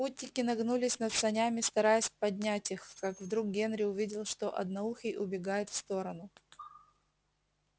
путники нагнулись над санями стараясь поднять их как вдруг генри увидел что одноухий убегает в сторону